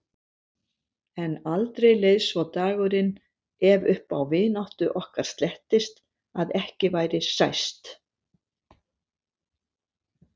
En aldrei leið svo dagurinn, ef upp á vináttu okkar slettist, að ekki væri sæst.